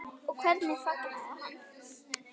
Og hvernig fagnaði hann?